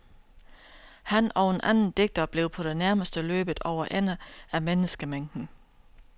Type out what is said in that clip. Han og en anden digter blev på det nærmeste løbet over ende af menneskemængden.